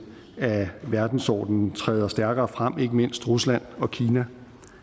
af verdensordenen træder stærkere frem ikke mindst rusland og kina